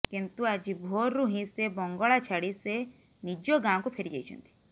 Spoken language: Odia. କିନ୍ତୁ ଆଜି ଭୋରରୁ ହିଁ ସେ ବଙ୍ଗଳା ଛାଡି ସେ ନିଜ ଗାଁକୁ ଫେରିଯାଇଛନ୍ତି